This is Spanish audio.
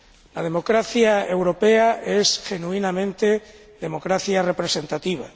La democracia europea es, genuinamente, democracia representativa.